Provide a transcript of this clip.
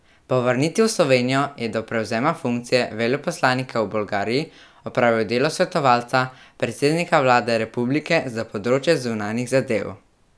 Po vrnitvi v Slovenijo je do prevzema funkcije veleposlanika v Bolgariji opravljal delo svetovalca predsednika vlade republike za področje zunanjih zadev.